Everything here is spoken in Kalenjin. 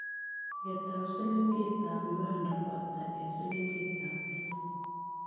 Alyetap silingiitap uganda ko ata eng' silingiitab kenya